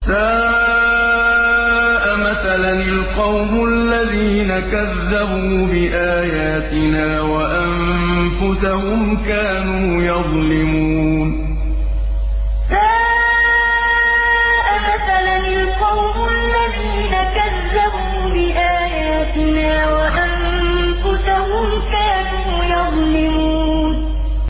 سَاءَ مَثَلًا الْقَوْمُ الَّذِينَ كَذَّبُوا بِآيَاتِنَا وَأَنفُسَهُمْ كَانُوا يَظْلِمُونَ سَاءَ مَثَلًا الْقَوْمُ الَّذِينَ كَذَّبُوا بِآيَاتِنَا وَأَنفُسَهُمْ كَانُوا يَظْلِمُونَ